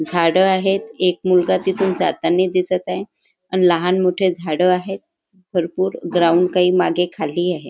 झाडं आहेत एक मुलगा तिथून जातानी दिसत आहे आणि लहान मोठी झाडे आहेत भरपूर ग्राउंड काही मागे खाली आहे.